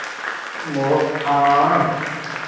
ਮੂੰਹ